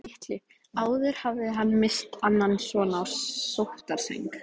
Litlu áður hafði hann misst annan son á sóttarsæng.